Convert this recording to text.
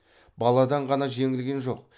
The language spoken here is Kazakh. баладан ғана жеңілген жоқ